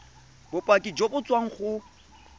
bopaki jo bo tswang go